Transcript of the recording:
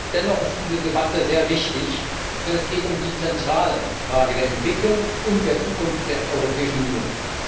Dennoch ist diese Debatte sehr wichtig, denn es geht um die zentrale Frage der Entwicklung und der Zukunft der Europäischen Union.